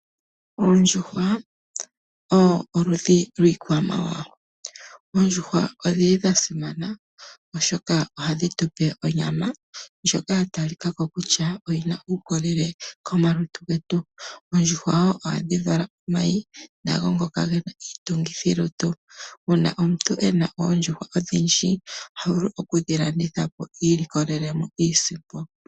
Oondjuhwa oludhi lwiikwamawawa. Oondjuhwa odha simana, oshoka ohadhi tu pe onyama ndjoka ya talika ko kutya oyi na uukolele komalutu getu. Oondjuhwa ohadhi vala omayi nago ngoka ge na iitungithilutu. Uuna omuntu e na oondjuhwa odhindji oha vulu okudhi landitha po iilikolele iisimpo.